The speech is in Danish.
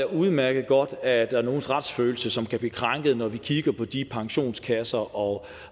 udmærket godt at der er nogles retsfølelse som kan blive krænket når vi kigger på de pensionskasser og